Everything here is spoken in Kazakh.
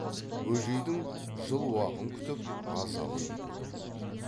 бөжейдің жыл уағын күтіп азалы күйде тұр